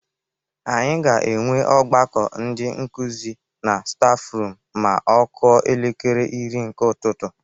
Anyi ga-enwe ọgbakọ ndi nkuzi na stafrum ma ọ kụọ elekere iri nke ụtụtụ.